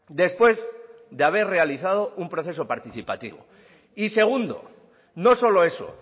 después de haber realizado un proceso participativo y segundo no solo eso